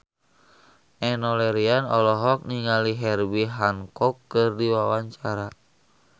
Enno Lerian olohok ningali Herbie Hancock keur diwawancara